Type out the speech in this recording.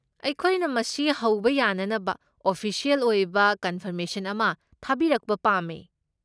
ꯑꯩꯈꯣꯏꯅ ꯃꯁꯤ ꯍꯧꯕ ꯌꯥꯅꯅꯕ ꯑꯣꯐꯤꯁꯤꯑꯦꯜ ꯑꯣꯏꯕ ꯀꯟꯐꯔꯃꯦꯁꯟ ꯑꯃ ꯊꯥꯕꯤꯔꯛꯄ ꯄꯥꯝꯃꯦ꯫